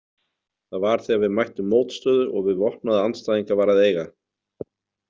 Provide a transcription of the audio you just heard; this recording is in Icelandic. Það var þegar við mættum mótstöðu og við vopnaða andstæðinga var að eiga.